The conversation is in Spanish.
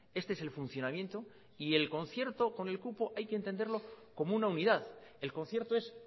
este es el funcionamiento y el concierto con el cupo hay que entenderlo como una unidad el concierto es